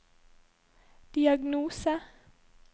diagnose